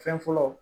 Fɛn fɔlɔ